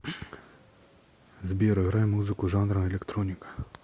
сбер играй музыку жанра электроника